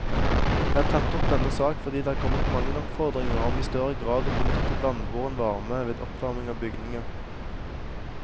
Jeg har tatt opp denne sak fordi det er kommet mange oppfordringer om i større grad å benytte vannbåren varme ved oppvarming av bygninger.